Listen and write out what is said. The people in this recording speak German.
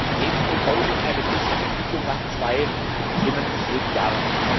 In diesem Sinne baue ich auf eine besser Entwicklung nach zwei schlimmen und schwierigen Jahren.